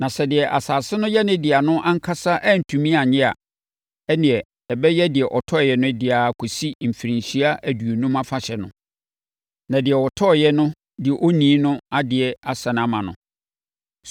Na sɛ deɛ asase no yɛ ne dea no ankasa antumi annye a, ɛnneɛ, ɛbɛyɛ deɛ ɔtɔeɛ no dea ara kɔsi Mfirinhyia Aduonum Afahyɛ no, na deɛ ɔtɔeɛ no de onii no adeɛ asane ama no.